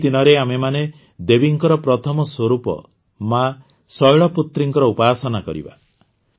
ଏହି ଦିନରେ ଆମେମାନେ ଦେବୀଙ୍କର ପ୍ରଥମ ସ୍ୱରୂପ ମା ଶୈଳପୁତ୍ରୀଙ୍କର ଉପାସନା କରିବା